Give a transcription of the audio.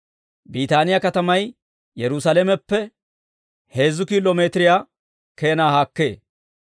Biitaaniyaa katamay Yerusaalameppe heezzu kiilo miitiriyaa keenaa haakkee.